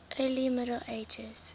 early middle ages